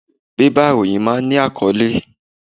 Bébà ìròyìn máa ń ní àkọ́lé.